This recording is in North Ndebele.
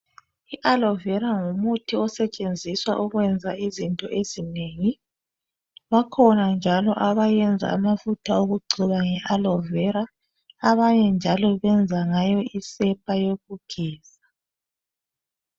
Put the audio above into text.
I aloe vera ngumuthi osetshenziswa ukwenza izinto ezinengi bakhona njalo abayenza amafutha okugcoba nge aloe vera, abanye njalo benza isepa yokugeza.